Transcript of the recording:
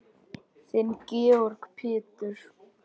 Þinn Georg Pétur.